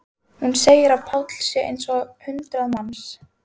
Hún segir að Páll sé eins og hundrað manns.